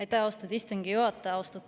Aitäh, austatud istungi juhataja!